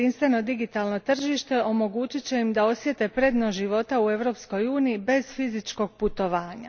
Jedinstveno digitalno tržište omogućit će im da osjete prednost života u Europskoj uniji bez fizičkog putovanja.